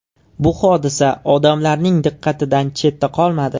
Bu hodisa odamlarning diqqatidan chetda qolmadi.